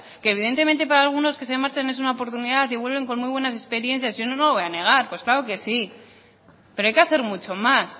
que evidentemente para algunos que se marchan es una oportunidad y vuelven con muy buenas experiencias yo no lo voy a negar pues claro que sí pero hay que hacer mucho más